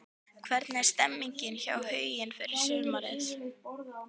Hvernig er stemningin hjá Huginn fyrir sumarið?